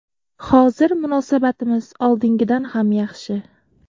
Hozir munosabatimiz oldingidan ham yaxshi.